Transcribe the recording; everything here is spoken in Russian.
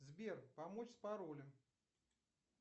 сбер помочь с паролем